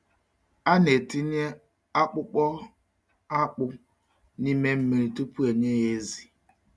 A na-etinye akpụkpọ akpụ n’ime mmiri tupu e nye ya ezi.